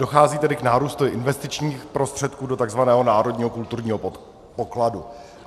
Dochází tedy k nárůstu investičních prostředků do tzv. národního kulturního pokladu.